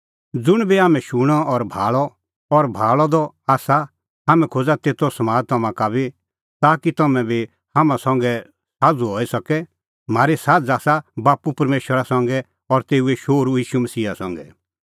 ज़ुंण बी हाम्हैं शूणअ और भाल़अ द आसा हाम्हैं खोज़ा तेतो समाद तम्हां का बी ताकि तम्हैं बी हाम्हां संघै साझ़ू हई सके म्हारी साझ़ आसा बाप्पू परमेशरा संघै और तेऊए शोहरू मसीहा ईशू संघै